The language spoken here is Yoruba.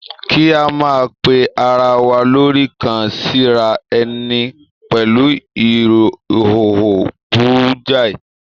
Kí a máa pe ara wa lórí kàn-síra ẹni pẹ̀lú ìhòòhò burú jáì